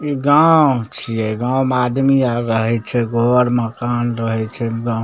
इ गांव छीये गांव मे आदमी आर रहय छै घर मकान रहय छै एकदम --